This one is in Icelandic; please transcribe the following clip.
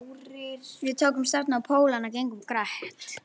Við tókum stefnu á Pólana og gengum greitt.